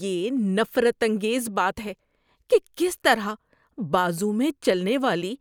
یہ نفرت انگیز بات ہے کہ کس طرح بازو میں چلنے والی